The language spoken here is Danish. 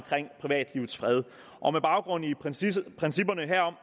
privatlivets fred og med baggrund i principperne herom